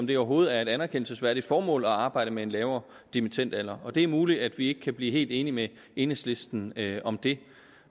det overhovedet er et anerkendelsesværdigt formål at arbejde med en lavere dimittendalder det er muligt at vi ikke kan blive helt enige med enhedslisten om det